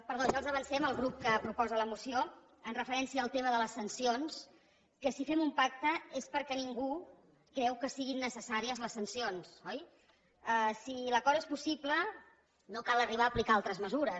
però ja els avancem al grup que proposa la moció amb referència al tema de les sancions que si fem un pacte és perquè ningú creu que siguin necessàries les sancions oi si l’acord és possible no cal arribar a aplicar altres mesures